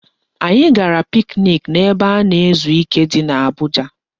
Anyị gara piknik n'ebe a na-ezu ike di n'Abuja